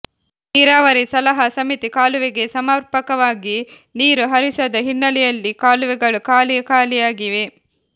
ನೀರಾವರಿ ಸಲಹಾ ಸಮಿತಿ ಕಾಲುವೆಗೆ ಸಮರ್ಪಕವಾಗಿ ನೀರು ಹರಿಸದ ಹಿನ್ನೆಲೆಯಲ್ಲಿ ಕಾಲುವೆಗಳು ಖಾಲಿ ಖಾಲಿಯಾಗಿವೆ